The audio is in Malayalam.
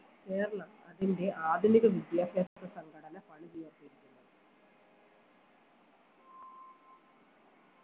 കേരളം അതിൻറെ ആധുനിക വിദ്യാഭ്യാസ സംഘടന പണി തീർത്തിരിക്കുന്നത്